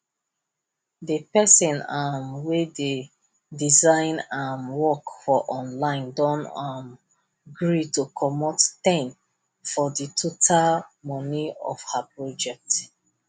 di person um wey dey design um work for online don um gree to comot ten for the total money of her project